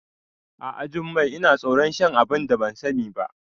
A'a Jummai, Ina tsoron shan abunda ban sani ba